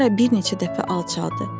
Klara bir neçə dəfə alçaldı.